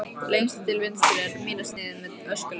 Lengst til vinstri er mýrarsniðið með öskulögum.